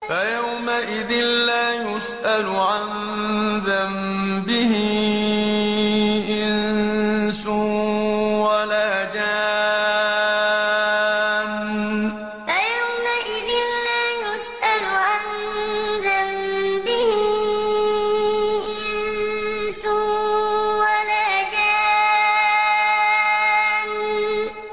فَيَوْمَئِذٍ لَّا يُسْأَلُ عَن ذَنبِهِ إِنسٌ وَلَا جَانٌّ فَيَوْمَئِذٍ لَّا يُسْأَلُ عَن ذَنبِهِ إِنسٌ وَلَا جَانٌّ